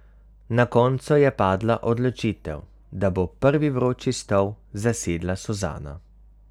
Na koncu je padla odločitev, da bo prvi vroči stol zasedla Suzana.